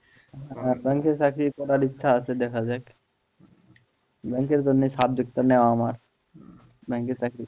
Bank এর চাকরি করার ইচ্ছা আছে দেখা যাক bank এর জন্য এ subject টা নেওয়া আমার bank এ চাকরি